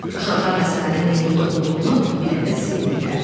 Uşaqlar məsələnin nə yerdə olduğunu biləndə sevindilər.